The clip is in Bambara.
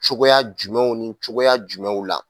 Cogoya jumɛnw ni cogoya jumɛnw la